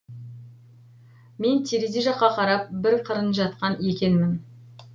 мен терезе жаққа қарап бір қырын жатқан екенмін